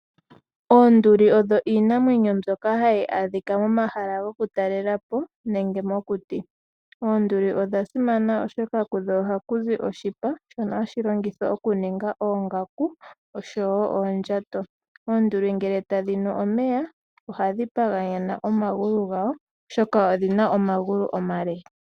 Oonduli odho iinamwenyo mbyoka hayi adhika momahala gukutalelapo nenge mokuti. Oonduli odhasimana oshoka kudho ohakuzi oshipa shono hashi longithwa okuninga oongaku oshowo oondjato . Oonduli ngele tadhinu omeya ohadhi paganyana omagulu gadho oshoka odhima omagulu omale.